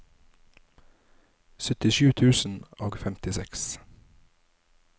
syttisju tusen og femtiseks